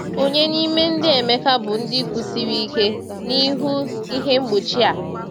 Ònye n’ime ndị Emeka bụ ndị kwụsiri ike n’ihu ihe mgbochi a?